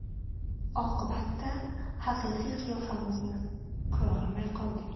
Oqibatda haqiqiy qiyofamizni ko‘rolmay qoldik.